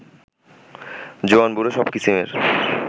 জোয়ান-বুড়ো সব কিসিমের